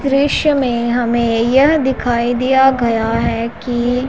दृश्य में हमें यह दिखाई दिया गया है कि--